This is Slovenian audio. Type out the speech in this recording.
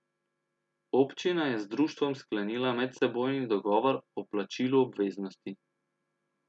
Občina je z društvom sklenila medsebojni dogovor o plačilu obveznosti.